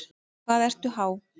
Hvað ertu há?